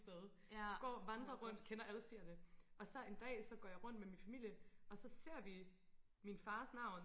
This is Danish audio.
sted går og vandre rundt kender alle stierne og så en dag så går jeg rundt med min familie og så ser vi min fars navn